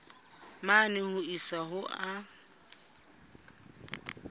mane ho isa ho a